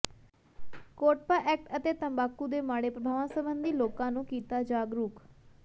COTPA act ਤੇ ਤੰਬਾਕੂ ਦੇ ਮਾੜੇ ਪ੍ਰਭਾਵਾਂ ਸਬੰਧੀ ਲੋਕਾਂ ਨੂੰ ਕੀਤਾ ਜਾਗਰੂਕ